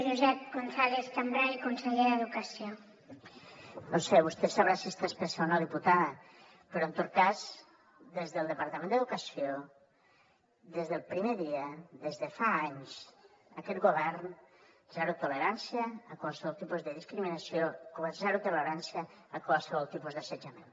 vostè deu saber si està espessa o no diputada però en tot cas des del departament d’educació des del primer dia des de fa anys aquest govern zero tolerància a qualsevol tipus de discriminació i zero tolerància a qualsevol tipus d’assetjament